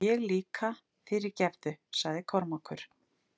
Og ég líka, fyrirgefðu, sagði Kormákur.